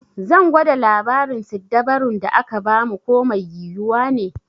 Zan gwada labarin siddabarun da aka ba mu ko mai yiwuwa ne.